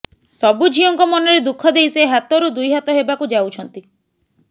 ସବୁ ଝିଅଙ୍କ ମନରେ ଦୁଃଖ ଦେଇ ସେ ହାତରୁ ଦୁଇ ହାତ ହେବାକୁ ଯାଉଛନ୍ତି